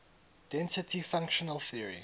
density functional theory